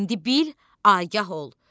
İndi bil, agah ol.